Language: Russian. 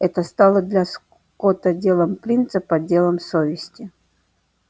это стало для скотта делом принципа делом совести